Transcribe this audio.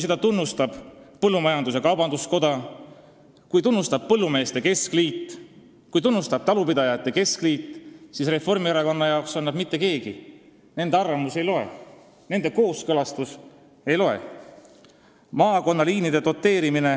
Neid tunnustavad põllumajandus-kaubanduskoda, põllumeeste keskliit ja talupidajate keskliit, aga Reformierakonna arvates ei ole nad mitte keegi, nende arvamus ei loe, nende kooskõlastus ei loe.